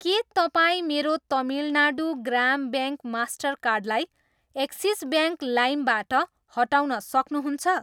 के तपाईँ मेरो तमिलनाडू ग्राम ब्याङ्क मास्टरकार्ड लाई एक्सिस ब्याङ्क लाइमबाट हटाउन सक्नुहुन्छ?